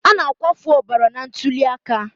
A na-akwafu ọbara na ntuli aka.